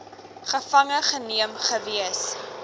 gevange geneem gewees